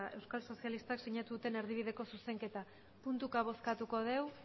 euskal sozialistak sinatu duten erdibideko zuzenketa puntuka bozkatuko dugu